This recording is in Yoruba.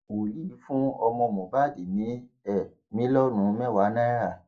wòlíì fún ọmọ mohbad ní um mílíọnù mẹwàá náírà